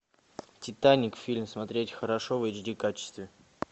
титаник фильм смотреть хорошо в эйч ди качестве